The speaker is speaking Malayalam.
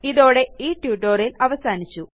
ഇതോടെ ഈ ട്യൂട്ടോറിയൽ അവസാനിച്ചു